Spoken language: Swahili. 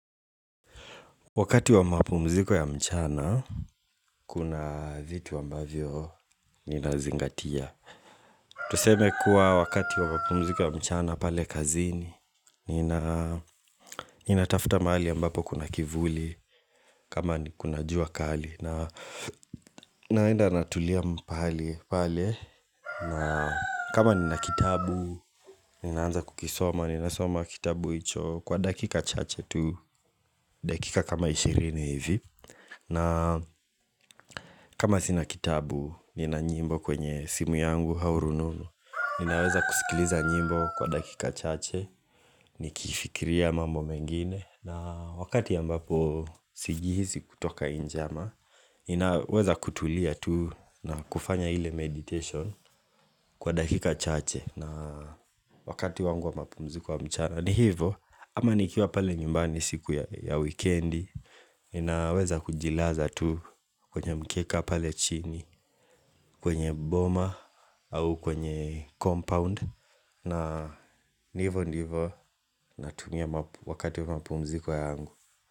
Wakati wa mapumziko ya mchana, kuna vitu ambavyo ninazingatia Tuseme kuwa wakati wa mapumziko ya mchana pale kazini nina Ninatafuta mahali ambapo kuna kivuli, kama ni kuna jua kali naenda natulia mpahali pale, kama nina kitabu, ninaanza kukisoma, ninasoma kitabu icho Kwa dakika chache tu, dakika kama ishirini hivi na kama sina kitabu ni na nyimbo kwenye simu yangu au rununu Ninaweza kusikiliza nyimbo kwa dakika chache Nikifikiria mambo mengine na wakati ambapo sijihisi kutoka inje ama Ninaweza kutulia tu nakufanya ile meditation kwa dakika chache na wakati wangu wa mapumziko ya mchana ni hivo ama nikiwa pale nyumbani siku ya wikendi Ninaweza kujilaza tu kwenye mkeka pale chini kwenye boma au kwenye compound na ni ivo ndivo natumia wakati wa mapumziko yangu.